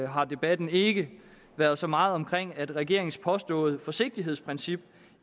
har debatten ikke været så meget omkring at regeringens påståede forsigtighedsprincip